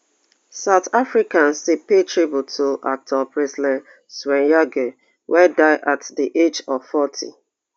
south africans dey pay tribute to actor presley chweneyagae wey die at di age of forty